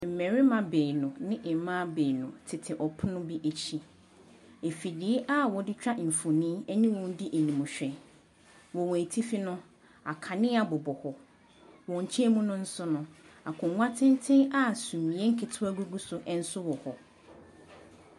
Mmarima baanu ne mmaa baanu tete pono bi akyi. Afidie a wɔde twa mfonin ne wɔn di animhwɛ. Wɔ wɔn atifi no, akanea bobɔ hɔ. Wɔn nkyan mu no nso no, akonnwa tenten a sumiiɛ nketewa gugu so nso wɔ hɔ.